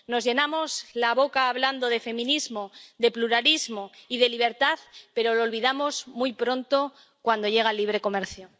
Nos llenamos la boca hablando de feminismo, de pluralismo y de libertad, pero lo olvidamos muy pronto cuando llega el libre comercio.